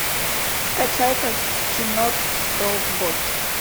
скачай ка кино тобот